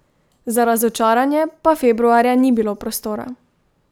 Za razočaranje pa februarja ni bilo prostora.